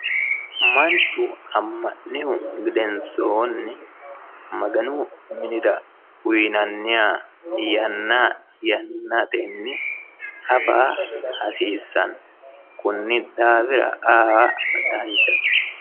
manchu ammannihu gedensoonni maganu minira uyiinanniha yanna yannatenni afa hasiissanno konni daafira aa danchate.